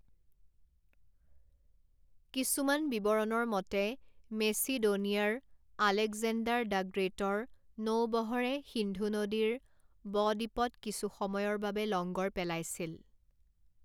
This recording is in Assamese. কিছুমান বিৱৰণৰ মতে মেচিডোনিয়াৰ আলেকজেণ্ডাৰ দ্য গ্ৰেটৰ নৌবহৰে সিন্ধু নদীৰ’বদ্বীপত কিছু সময়ৰ বাবে লংগৰ পেলাইছিল।